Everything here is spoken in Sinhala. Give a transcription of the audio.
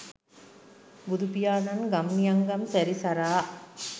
බුදුපියාණන් ගම් නියම්ගම් සැරිසරා